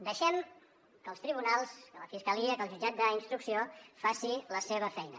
deixem que els tribunals que la fiscalia que el jutjat d’instrucció faci la seva feina